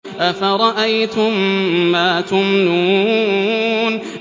أَفَرَأَيْتُم مَّا تُمْنُونَ